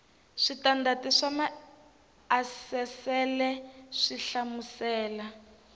switandati swa maasesele swi hlamusela